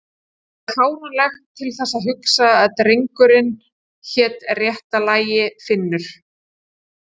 Það er fáránlegt til þess að hugsa að drengurinn hét réttu lagi Friðfinnur